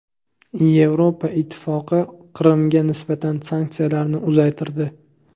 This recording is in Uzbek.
Yevropa Ittifoqi Qrimga nisbatan sanksiyalarni uzaytirdi.